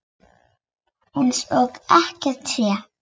Eins og ekkert sé!